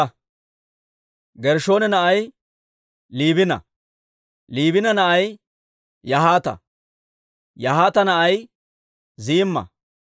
Gershshoona na'ay Liibina; Liibina na'ay Yahaata; Yahaata na'ay Ziimma.